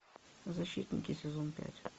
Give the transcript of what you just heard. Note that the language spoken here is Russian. защитники сезон пять